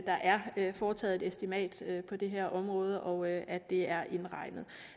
der er foretaget et estimat på det her område og at at det er indregnet